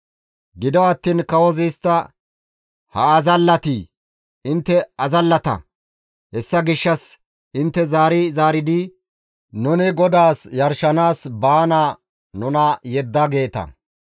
Gido attiin kawozi istta, «Ha azallati! Intte azallata! Hessa gishshassa intte zaari zaaridi, ‹Nuni GODAAS yarshanaas baana nuna yedda› geeta.